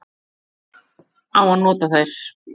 Hver á nota þær?